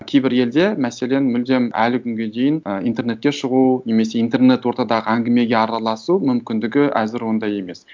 кейбір елде мәселен мүлдем әлі күнге дейін ы интернетке шығу немесе интернет ортадағы әңгімеге араласу мүмкіндігі әзір ондай емес